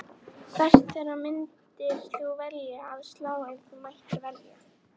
Hvert þeirra myndir þú velja að slá ef þú mættir velja?